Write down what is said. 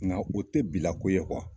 Nka o tɛ bilako ye